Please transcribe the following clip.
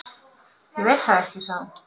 Ég veit það ekki, sagði hún.